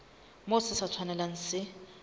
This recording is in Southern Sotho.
moo se sa tshwanelang se